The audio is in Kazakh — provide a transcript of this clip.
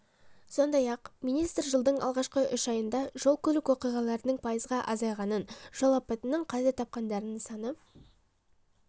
сондай-ақ министр жылдың алғашқы үш айында жол-көлік оқиғаларының пайызға азайғанын жол апатынан қаза тапқандардың саны